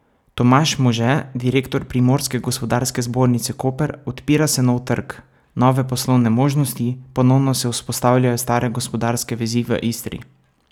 Tomaž Može, direktor Primorske gospodarske zbornice Koper: 'Odpira se nov trg, nove poslovne možnosti, ponovno se vzpostavljajo stare gospodarske vezi v Istri.